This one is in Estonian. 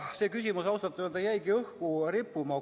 See küsimus ausalt öeldes jäigi õhku rippuma.